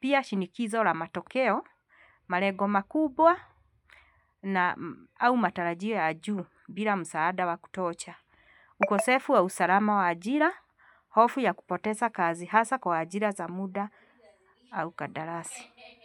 Pia shinikizo la matokeo, malengo makubwa na au matarajio ya juu bila msaada wa kutosha. Ukosefu wa usalama wa ajira, hofu ya kupoteza kazi hasa kwa ajira za muda au kandarasi.